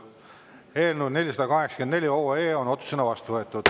Eelnõu 484 on otsusena vastu võetud.